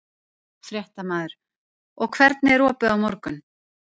Fréttamaður: Og hvernig er opið á morgun?